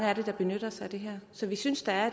er der benytter sig af det her så vi synes at